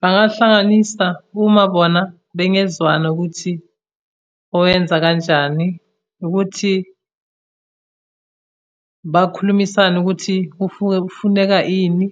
Bangahlanganisa uma bona bengezwana ukuthi oyenza kanjani, ukuthi bakhulumisane ukuthi kufuneka ini,